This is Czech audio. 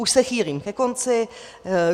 Už se chýlím ke konci.